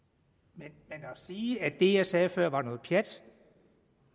men at sige at det jeg sagde før var noget pjat